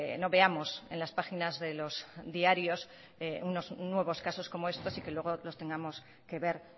no veamos en las páginas de los diarios nuevos casos como estos y que luego los tengamos que ver